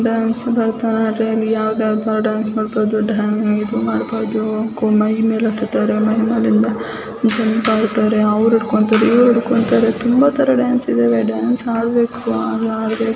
dance Bharatanatyam ಇಲ್ಲಿ ಯಾವ್ ತರದ್ ಡ್ಯಾನ್ಸ್ ಬೇಕಾದ್ರು ಮೈ ಮೇಲೆ ಅವರು ಇಡ್ಕೊಂತಾರೇ ಇವ್ರು ಇಡ್ಕೊಂತಾರೆ ತುಂಬ ತರಾ ಡ್ಯಾನ್ಸ್ ಇದೆ ಡ್ಯಾನ್ಸ್ ಮಾಡಬೇಕು